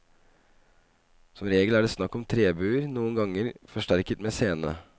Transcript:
Som regel er det snakk om trebuer, noen ganger forsterket med sene.